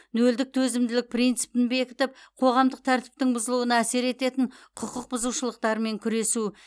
нөлдік төзімділік принципін бекітіп қоғамдық тәртіптің бұзылуына әсер ететін құқық бұзушылықтармен күресу